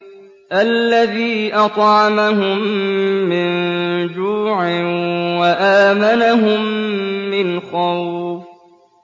الَّذِي أَطْعَمَهُم مِّن جُوعٍ وَآمَنَهُم مِّنْ خَوْفٍ